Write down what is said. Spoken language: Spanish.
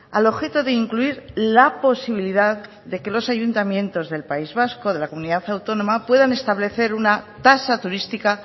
al objeto de incluir la posibilidad de que los ayuntamientos del país vasco de la comunidad autónoma puedan establecer una tasa turística